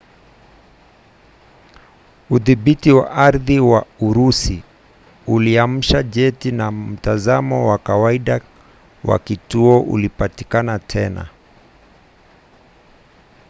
udhibiti wa ardhi wa urusi uliamsha jeti na mtazamo wa kawaida wa kituo ulipatikana tena